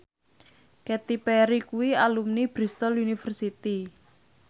Katy Perry kuwi alumni Bristol university